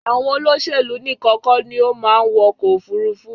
Àwọn olóṣèlú níkan kọ́ ni ó máa ń wọkọ̀ òfurufu